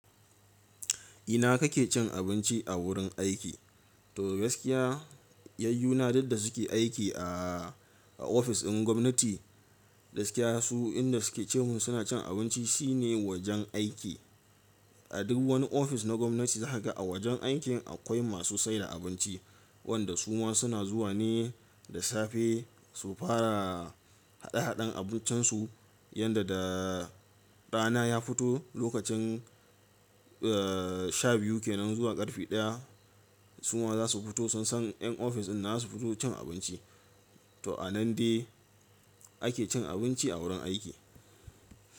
Ina kake cin abinci a wurin aiki? To gaskiya, yayyu na duk da suke aiki a ofis ɗin gwamnati, gaskiya su inda suke ce mun suna cin abinci shine wajen aiki. A duk wani ofis na gwamnati za ka ga a wajen aikin akwai masu saida abinci, wanda su ma suna zuwa ne da safe su fara haɗe haɗen abincin su, yanda da rana ya fito lokacin sha biyu kenan zuwa karfe ɗaya, su ma za su fito sun san yan ofis ɗin za su fito cin abinci. To a nan dai ake cin abinci a wurin aiki.